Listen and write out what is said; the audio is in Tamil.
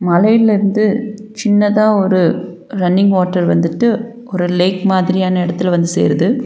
மலையில இருந்து சின்னதா ஒரு ரன்னிங் வாட்டர் வந்துட்டு ஒரு லேக் மாதிரியான இடத்தில வந்து சேருது.